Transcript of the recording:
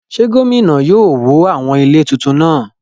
Ṣé gómìnà yóò wó àwọn ilé tuntun náà?